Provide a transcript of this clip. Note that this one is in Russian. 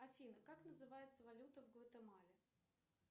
афина как называется валюта в гватемале